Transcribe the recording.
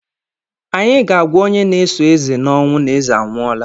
Anyị ga agwa onye na-eso eze n'ọnwụ na eze anwụọla.